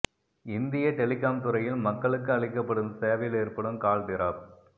இந்திய டெலிகாம் துறையில் மக்களுக்கு அளிக்கப்படும் சேவையில் ஏற்படும் கால் டிராப்